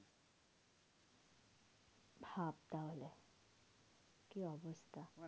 ভাব তাহলে কি অবস্থা?